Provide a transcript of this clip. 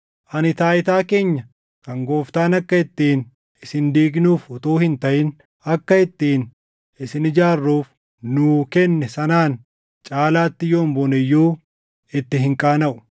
Ani taayitaa keenya kan Gooftaan akka ittiin isin diignuuf utuu hin taʼin akka ittiin isin ijaarruuf nuu kenne sanaan caalaatti yoon boone iyyuu itti hin qaanaʼu.